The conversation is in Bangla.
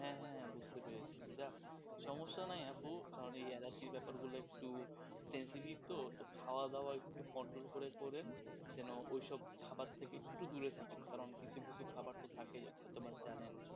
যাক সমস্যা নাই আপু, কারণ এই অ্যালার্জির ব্যাপারগুলা একটু sensitive তো তো খাওয়া দাওয়া একটু control করে পরে জেন ওই সব খাবার থেকে একটু দূরে থাকে কারণ কিছু কিছু খাবার তো থাকেই যখন জানেন,